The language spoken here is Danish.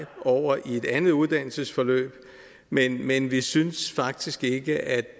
over i et andet uddannelsesforløb men men vi synes faktisk ikke at